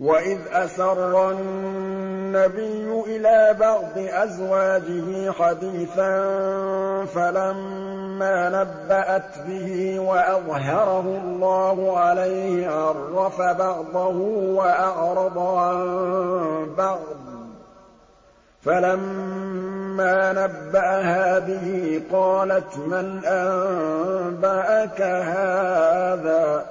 وَإِذْ أَسَرَّ النَّبِيُّ إِلَىٰ بَعْضِ أَزْوَاجِهِ حَدِيثًا فَلَمَّا نَبَّأَتْ بِهِ وَأَظْهَرَهُ اللَّهُ عَلَيْهِ عَرَّفَ بَعْضَهُ وَأَعْرَضَ عَن بَعْضٍ ۖ فَلَمَّا نَبَّأَهَا بِهِ قَالَتْ مَنْ أَنبَأَكَ هَٰذَا ۖ